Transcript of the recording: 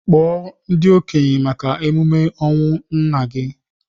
Kpọọ ndị okenye maka emume ọnwụ nnanna gị!